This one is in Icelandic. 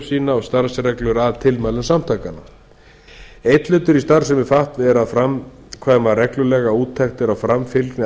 sína og starfsreglur að tilmælum samtakanna einn hluti í starfsemi fatf er að framkvæma reglulega úttektir á framfylgni